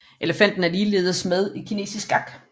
Elefanten er ligeledes med i kinesisk skak